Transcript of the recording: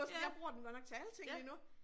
Ja. Ja